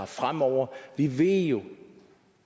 fremover vi ved jo